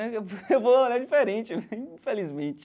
Né eu eu vou olhar diferente, infelizmente.